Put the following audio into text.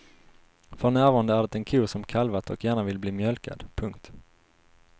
För närvarande är det en ko som kalvat och gärna vill bli mjölkad. punkt